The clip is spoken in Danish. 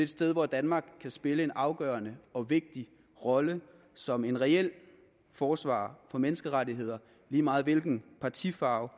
sted hvor danmark kan spille en afgørende og vigtig rolle som en reel forsvarer for menneskerettigheder lige meget hvilken partifarve